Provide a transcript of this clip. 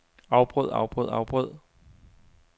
afbrød afbrød afbrød